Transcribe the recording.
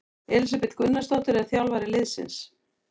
Elísabet Gunnarsdóttir er þjálfari liðsins.